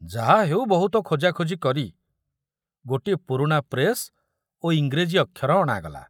ଯାହା ହେଉ ବହୁତ ଖୋଜାଖୋଜି କରି ଗୋଟିଏ ପୁରୁଣା ପ୍ରେସ ଓ ଇଂରେଜୀ ଅକ୍ଷର ଅଣାଗଲା।